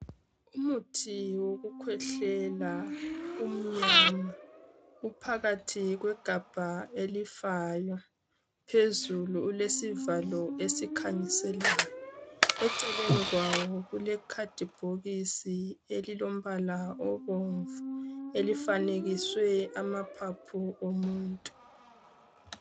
Umuthi wokukhwehlela umnyama, uphakathi kwegabha elifayo, phezulu ulesivalo esikhanyiselayo eceleni kwawo kulekhadibhokisi elilombala obomvu elifanekiswe amaphaphu omuntu.